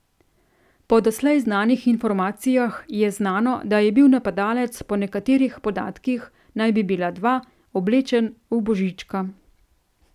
Po doslej znanih informacijah je znano, da je bil napadalec, po nekaterih podatkih naj bi bila dva, oblečen v Božička.